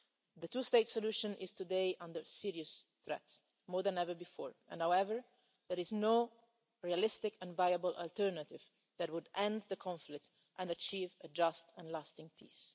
The two state solution is today under serious threat more than ever before and yet there is no realistic and viable alternative that would end the conflict and achieve a just and lasting peace.